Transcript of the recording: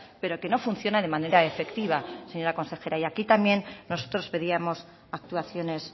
pero que no funciona de manera efectiva señora consejera y aquí también nosotros pedíamos actuaciones